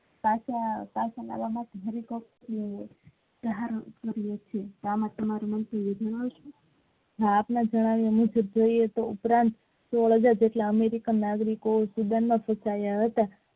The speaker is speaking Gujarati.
પાછા હરિભક્ત છે આપણા જાણાવીયા મુજબ જોયે તો ઉપરાંત સોલહઝર જેટલા american નાગરિકો student માં ફસાયા હતા.